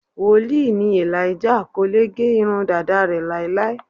Wòlíì ni Elijah, kò lè gẹ irun dàda rẹ̀ láéláé.